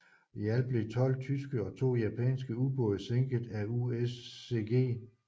I alt blev tolv tyske og to japanske ubåde sænket af USCG